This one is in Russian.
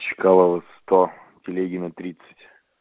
чкалова сто телегина тридцать